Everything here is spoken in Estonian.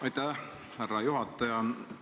Aitäh, härra juhataja!